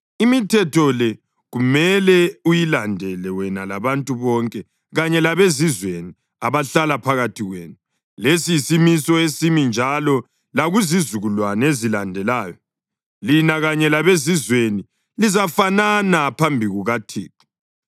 Imithetho le kumele uyilandele wena labantu bonke kanye labezizweni abahlala phakathi kwenu; lesi yisimiso esimi njalo lakuzizukulwane ezilandelayo. Lina kanye labezizweni lizafanana phambi kukaThixo: